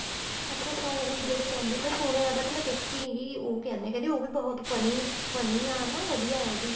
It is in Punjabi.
ਅੱਛਾ ਅੱਛਾ ਉਹੀ ਜਿਹੜੇ ਕਹਿੰਦੇ ਮੈਂ ਸੁਣਿਆ but ਮੈਂ ਦੇਖੀ ਨੀ ਗੀ ਉਹ ਕਹਿਨੇ ਏ ਉਹ ਵੀ ਬਹੁਤ funny funny ਏ ਨਾ ਵਧੀਆ ਉਹ ਵੀ